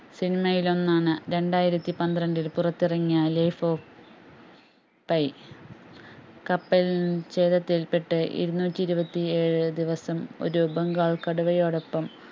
cinema യിൽ ഒന്നാണ് രണ്ടായിരത്തിപന്ത്രണ്ടിൽ പുറത്തിറങ്ങിയ Life of pi കപ്പൽ പെട്ട് ഇരുന്നൂറ്റി ഇരുപത്തിഏഴ് ദിവസം ഒരു ബംഗാൾ കടവയോടൊപ്പം